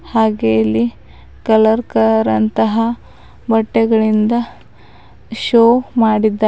ಹಾಗೆ ಇಲ್ಲಿ ಕಲರ್ ಕರ್ ಅಂತಹ ಬಟ್ಟೆಗಳಿಂದ ಶೋ ಮಾಡಿದ್ದಾರೆ.